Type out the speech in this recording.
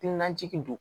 Najigi don